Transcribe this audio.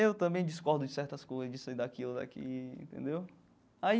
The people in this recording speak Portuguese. Eu também discordo de certas coisas, de sair daqui ou daqui entendeu aí.